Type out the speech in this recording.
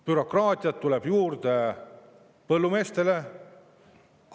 Bürokraatiat tuleb juurde põllumeestele.